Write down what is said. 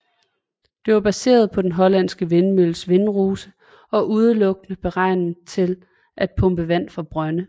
Den var baseret på den hollandske vindmølles vindrose og udelukkende beregnet til at pumpe vand fra brønde